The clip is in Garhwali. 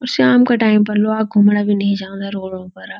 और स्याम का टाइम पर ल्वाग घुमणा भी नहीं जांदा रोड़ो पर।